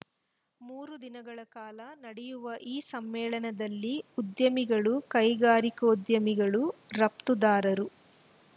ಮೂರು ದಿನಗಳ ಕಾಲ ನಡೆಯುವ ಈ ಸಮ್ಮೇಳನದಲ್ಲಿ ಉದ್ಯಮಿಗಳು ಕೈಗಾರಿಕೋದ್ಯಮಿಗಳು ರಫ್ತುದಾರರು